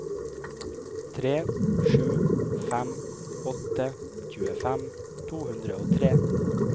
tre sju fem åtte tjuefem to hundre og tre